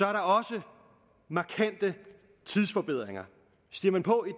er der også markante tidsforbedringer stiger man på